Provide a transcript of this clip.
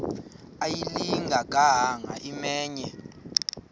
ayilinga gaahanga imenywe